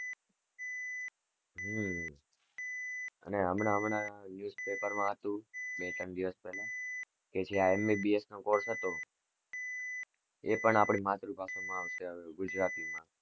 હમ અને હમણાં હમણાં newspaper માં હતું બે ત્રણ દિવસ પેલા કે જે MBBS નો course હતો એ પણ આપણી માતૃભાષા માં આવશે ગુજરાતી માં,